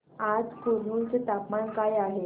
आज कुरनूल चे तापमान काय आहे